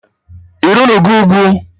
Ị rịnụgo ugwu?